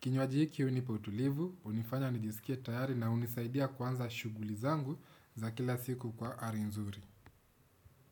Kinywaji hiki hunipa utulivu, hunifanya nijisikie tayari na hunisaidia kuanza shughuli zangu za kila siku kwa ari nzuri.